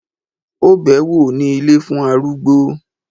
Ó bẹ́ẹ̀ wò ní ilé fún arúgbó